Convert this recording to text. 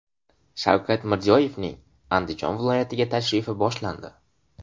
Shavkat Mirziyoyevning Andijon viloyatiga tashrifi boshlandi .